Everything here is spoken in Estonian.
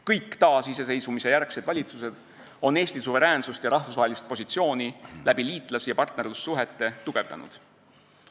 Kõik taasiseseisvumisjärgsed valitsused on Eesti suveräänsust ja rahvusvahelist positsiooni liitlas- ja partnerlussuhete kaudu tugevdanud.